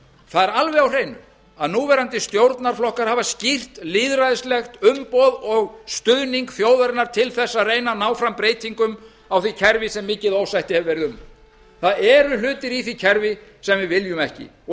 það er alveg á hreinu að núverandi stjórnarflokkar hafa skýrt lýðræðislegt umboð og stuðning þjóðarinnar til þess að reyna að ná fram breytingum á því kerfi sem mikið ósætti hefur verið um það eru hlutir í því kerfi sem við viljum ekki og